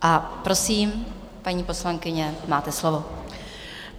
A prosím, paní poslankyně, máte slovo.